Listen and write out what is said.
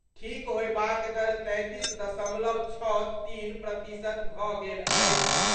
ठीक होयबाक दर तैंतीस दशमलव छओ तीन प्रतिशत भऽ गेल अछि।